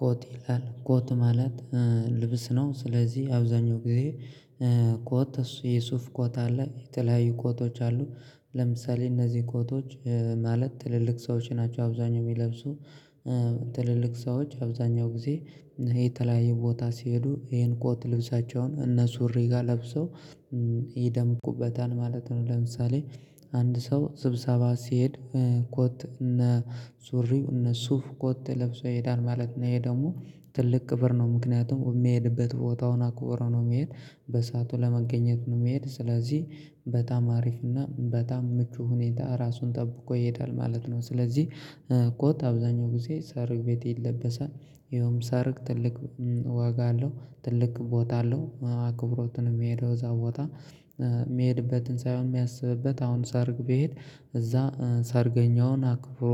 ኮት ይላል ኮት ማለት ልብስ ነው። ስለዚህ አብዛኛው ጊዜ ኮት እሱ የሱፍ ኮት አለ። የተለያዩ ኮቶች አሉ ለምሳሌ እነዚህ ኮቶች ማለት ትልልቅ ሰዎች ናቸው። አብዛኛው የሚለብሱ ትልልቅ ሰዎች አብዛኛው ጊዜ ይሄ የተለያየ ቦታ ሲሄዱ ይሄን ኮት ልብሳቸውን እና ሱሪ ጋር ለብሰው ይደምቁበታል ማለት ነው። ለምሳሌ አንድ ሰው ስብሰባ ሲሄድ ኮት እና ሱሪው እና ሱፍ ኮት ለብሶ ይሄዳል ማለት ነው። ይሄ ደግሞ ትልቅ ክብር ነው። ምክንያቱም የሚሄድበት ቦታውን አክብሮ ነው የሚሄድ በሰአቱ ለመገኘት ነው። የሚሄድ ስለዚህ በጣም አሪፍ እና በጣም ምቹ ሁኔታ ራሱን ጠብቆ ይሄዳል ማለት ነው። ስለዚህ ኮት አብዛኛው ጊዜ ሰርግ ቤት ይለበሳል። ይኸውም ሰርግ ትልቅ ዋጋ አለው ትልቅ ቦታ አለው አክብሮት ነው። የሚሄደው እዛ ቦታ የሚሄድበትን ሳይሆን የሚያስብበት አሁን ሰርግ ቢሄድ እዛ ሰርገኛውን አክብሮ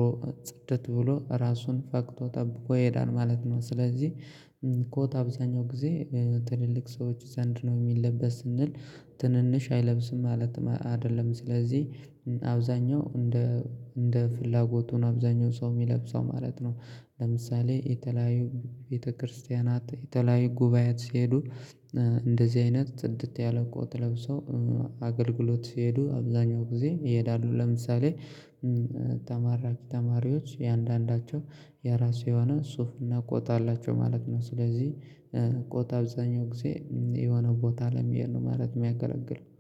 ጽድት ብሎ ራሱን ፈክቶ ጠብቆ ይሄዳል ማለት ነው። ስለዚህ ኮት አብዛኛው ጊዜ ትልልቅ ሰዎች ዘንድ ነው የሚለበስ ስንል ትንንሽ አይለብስም ማለትም አ አይደለም። ስለዚህ አብዛኛው እንደ እንደ ፍላጎቱ ነው አብዛኛው ሰው የሚለብሰው ማለት ነው። ለምሳሌ የተለያዩ ቤተክርስቲያናት የተለያዩ ጉባኤያት ሲሄዱ እንደዚህ አይነት ጽድት ያለ ኮት ለብሰው አገልግሎት ሲሄዱ አብዛኛው ጊዜ ይሄዳሉ። ለምሳሌ ተመራቂ ተማሪዎች እያንዳንዳቸው የራሱ የሆነ ሱፍ እና ኮት አላቸው ማለት ነው። ስለዚህ ኮት አብዛኛው ጊዜ የሆነ ቦታ ለመሄድ ነው ማለት ነው የሚያገለግለው